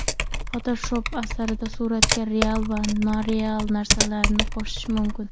Fotoshop asrida suratlarga real va noreal narsalarni qo‘shish mumkin.